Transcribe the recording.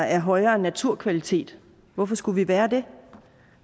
af højere naturkvalitet hvorfor skulle vi være det